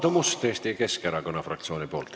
Aadu Must Eesti Keskerakonna fraktsiooni nimel.